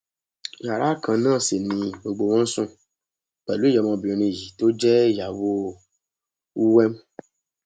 yàrá kan náà sì ni gbogbo wọn ń sùn pẹlú ìyá ọmọbìnrin yìí tó jẹ ìyàwó uwem